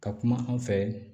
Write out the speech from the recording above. Ka kuma an fɛ